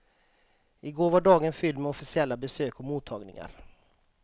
Igår var dagen fylld med officiella besök och mottagningar.